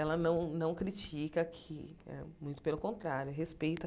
Ela não não critica que hã, muito pelo contrário, respeita.